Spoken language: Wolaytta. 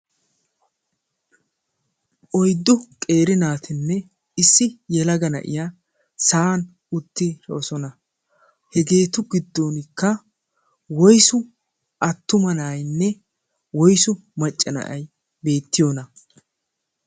oiddu qeeri naatinne issi yelaga na7iya sa7an uttidoosona. hegeetu giddonkka woisu attuma naainne woisu maccana7ai beettiyoona?